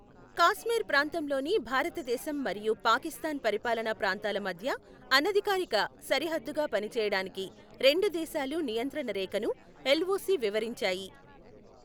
కాశ్మీర్ ప్రాంతంలోని భారతదేశం మరియు పాకిస్తాన్ పరిపాలన ప్రాంతాల మధ్య అనధికారిక సరిహద్దుగా పనిచేయడానికి రెండు దేశాలు నియంత్రణ రేఖను, ఎల్ఒసి వివరించాయి.